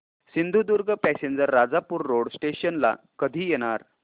Sindhudurg passenger Rajapur road station ला कधी येणार